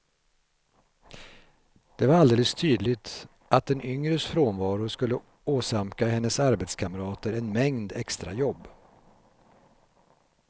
Det var alldeles tydligt att den yngres frånvaro skulle åsamka hennes arbetskamrater en mängd extrajobb.